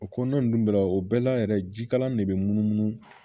O kɔnɔna ninnu bɛɛ la o bɛɛ la yɛrɛ jikalan de bɛ munumunu